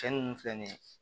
Cɛn nunnu filɛ nin ye